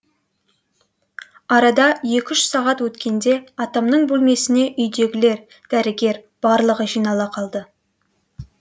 арада екі үш сағат өткенде атамның бөлмесіне үйдегілер дәрігер барлығы жинала қалды